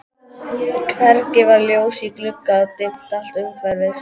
Hvergi var ljós í glugga og dimmt allt umhverfis.